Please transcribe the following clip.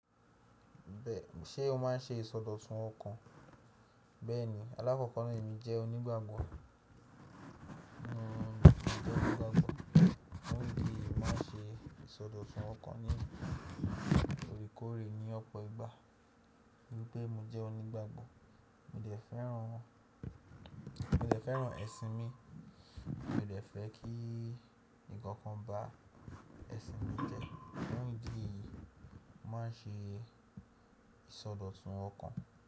Bẹ́ẹ̀ ṣé o má ń ṣe ìsọdọ̀tun ọkàn? Bẹ́ẹ̀ni aláfọkàń ní mi jẹ́ onígbàgbọ́. N o jẹ́ onígbàgbọ́, mo ń di máa ń ṣe ìsọdọ̀tun ọkàn ní orí kọre ní ọ̀pọ̀ ìgbà. Pé mo jẹ́ onígbàgbọ́ mo dẹ̀ fẹ́ràn, mo dẹ̀ fẹ́ràn ẹ̀sìn mi, mo dẹ̀ fẹ́ kí ǹkan kan bá ẹ̀sìn mi jẹ́ fún ìdí èyí mo má ń ṣe ìsọdọ̀tun ọkàn.